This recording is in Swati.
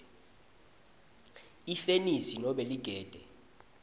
ifenisi nobe ligede